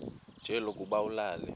nje lokuba ulale